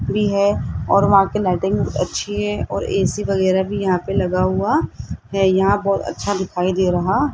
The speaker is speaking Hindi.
है और वहां की लाइटिंग अच्छी है और ए_सी वगैरा भी यहां पे लगा हुआ है यहां पर अच्छा दिखाई दे रहा --